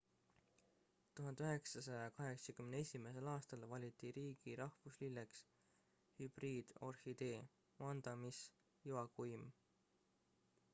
1981 aastal valiti riigi rahvuslilleks hübriidorhidee vanda miss joaquim